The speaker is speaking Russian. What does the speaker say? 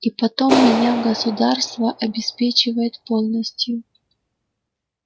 и потом меня государство обеспечивает полностью